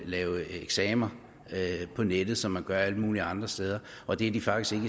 lave eksamener på nettet som man gør alle mulige andre steder og det er de faktisk